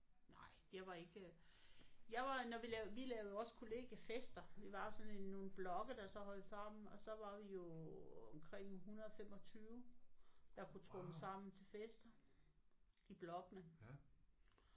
Nej det var ikke øh jeg var når vi lavede vi lavede jo også kollegiefester. Vi var jo sådan en nogle blokke der så holdte sammen og så var vi jo omkring 125 der kunne tromle sammen til fester i blokkene